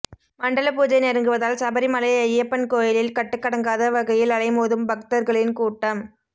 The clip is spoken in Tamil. மண்டல பூஜை நெருங்குவதால் சபரிமலை ஐயப்பன் கோயிலில் கட்டுக்கடங்காத வகையில் அலைமோதும் பக்தர்களின் கூட்டம்